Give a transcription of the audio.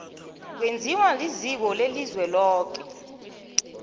kwenziwa liziko lelizweloke